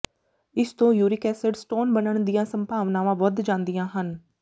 ਇਸ ਤੋਂ uric acid stone ਬਣਨ ਦੀ ਸੰਭਾਵਨਾਵਾਂ ਵੱਧ ਜਾਂਦੀਆਂ ਹਨ